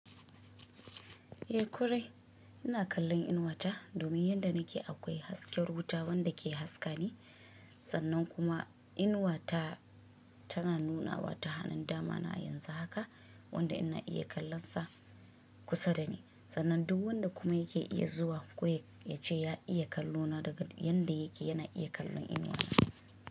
Eh korai, ina kallon inuwa ta domin yanda nake akwai hasken wuta wanda ke haska ni. Sannan kuma inuwa ta, tana nunawa ta hanun dama na a yanzu haka wanda ina iya kallon sa kusa da ni. Sannan duk wanda kuma yake iya zuwa ko ya ce ya iya kallo na daga yadda yake yana iya kallon inuwa na.